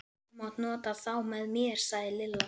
Þú mátt nota þá með mér sagði Lilla.